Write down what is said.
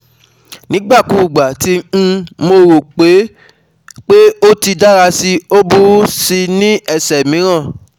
Nigbakugba ti um mo ro pe pe o ti n dara si, o buru si ni ẹsẹ miiran